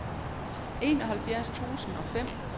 enoghalvfjerds tusind og fem